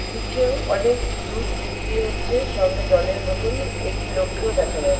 নিচেও অনেক দুধ বিক্রি হচ্ছে সঙ্গে জলের বোতল। একটি লোককেও দেখা যা--